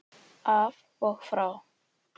Af og frá!